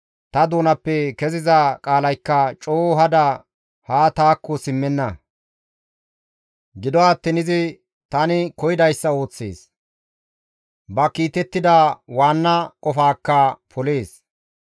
ta doonappe keziza qaalaykka coo hada haa taakko simmenna; gido attiin izi tani koyidayssa ooththees; ba kiitettida waanna qofaakka polees.